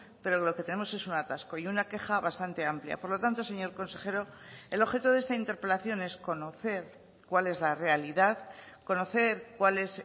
pero lo que tenemos es un atasco y una queja bastante amplia por lo tanto señor consejero el objeto de esta interpelación es conocer cuál es la realidad conocer cuál es